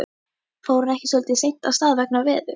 Fór hún ekki svolítið seint af stað vegna veðurs?